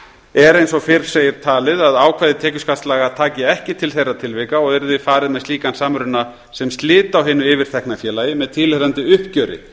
eins og fyrr segir talið að ákvæði tekjuskattslaga taki ekki til þeirra tilvika og yrði farið með slíkan samruna sem slit á hinu yfirtekna félagi með tilheyrandi uppgjöri